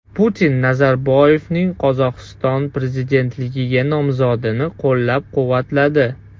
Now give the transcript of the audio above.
Putin Nazarboyevning Qozog‘iston prezidentligiga nomzodini qo‘llab-quvvatladi.